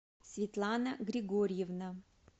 светлана григорьевна